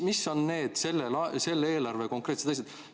Mis on selle eelarve need konkreetsed asjad?